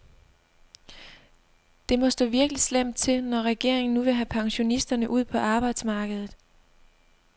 Det må stå virkelig slemt til, når regeringen nu vil have pensionisterne ud på arbejdsmarkedet.